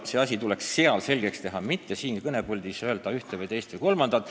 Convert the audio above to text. Need asjad tuleks seal selgeks teha, mitte öelda siin kõnepuldis suvaliselt ühte, teist või kolmandat.